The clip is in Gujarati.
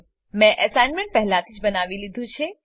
મેં એસાઈનમેંટ પહેલાથી જ બનાવી લીધું છે